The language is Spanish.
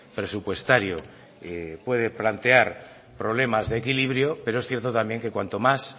presupuestario puede plantear problemas de equilibrio pero es cierto también que cuanto más